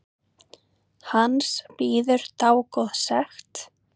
Hans bíður dágóð sekt.